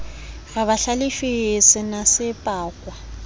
re ba hlalefile senase pakwa